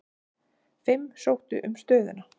Fimm sóttu um stöðuna.